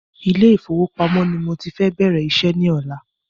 Ilé ìfọwọ́pamó ni mọ ti fẹ bẹ̀rẹ̀ iṣẹ́ ní ọ̀la